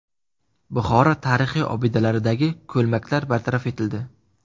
Buxoro tarixiy obidalaridagi ko‘lmaklar bartaraf etildi.